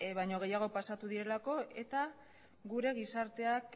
baino gehiago pasatu direlako eta gure gizarteak